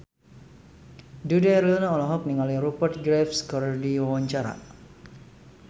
Dude Herlino olohok ningali Rupert Graves keur diwawancara